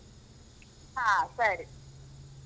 ಹಾ, ಸರಿ.